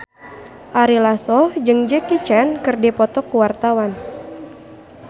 Ari Lasso jeung Jackie Chan keur dipoto ku wartawan